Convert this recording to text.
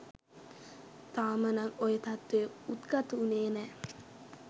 තාමනම් ඔය තත්ත්වය උද්ගත වුනේ නෑ